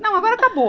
Não, agora acabou.